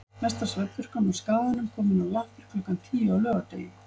Mesta svefnpurkan á Skaganum komin á lappir klukkan tíu á laugardegi.